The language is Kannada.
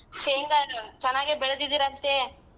ಶೇಂಗಾನ್ ಚೆನ್ನಾಗೆ ಬೆಳ್ದಿದ್ದೀರಂತೆ?